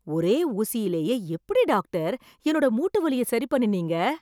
ஒரே ஊசியிலயே எப்படி டாகடர் என்னோட மூட்டு வலிய சரி பண்ணினீங்க?